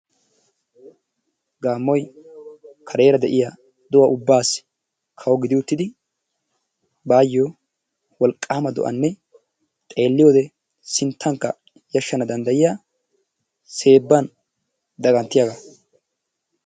Gaammoy kareera de'iya do'a ubbaassi kawo gidi uttidi baayyo wolqqaama do'anne xeelliyode sinttankka yashshana danddayiya seebban daganttiyagaa.